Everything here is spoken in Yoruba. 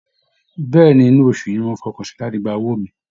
Bẹ́ẹ̀ ni, inú oṣù yìí náà ni mo fọkàn sí láti gba owó mi